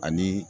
Ani